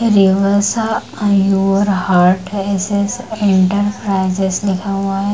रेवसा योर हर्ट है एस.एस इंटरप्राइजेज लिखा हुआ है।